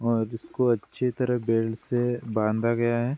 और इसको अच्छी तरह बेल्ट से बांधा गया है।